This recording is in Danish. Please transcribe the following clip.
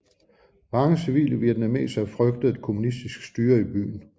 Mange civile vietnamesere frygtede et kommunistisk styre i byen